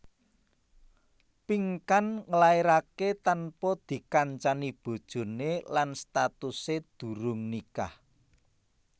Pinkan nglairaké tanpa dikancani bojoné lan statusé durung nikah